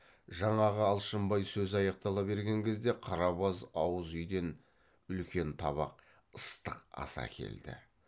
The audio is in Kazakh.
жаңағы алшынбай сөзі аяқтала берген кезде қарабаз ауыз үйден үлкен табақ ыстық ас әкелді